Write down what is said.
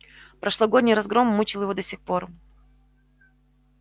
прошлогодний разгром мучил его до сих пор